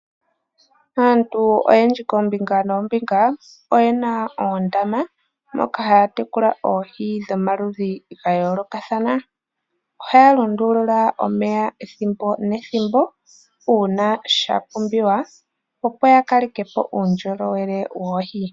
Aantu oyendji kombinga nombinga oyena oondama moka haya tekula oohi dhomaludhi ga yolokathana. Ohaya lu ndulula omeya ethimbo nethimbo una sha pumbiwa opo ya kale kepo uundjolowele woohi.